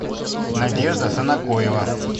надежда санакоева